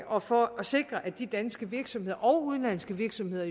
og for at sikre at de danske virksomheder og udenlandske virksomheder